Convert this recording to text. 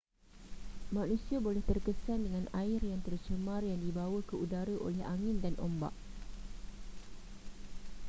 manusia boleh terkesan dengan air yang tercemar yang dibawa ke udara oleh angin dan ombak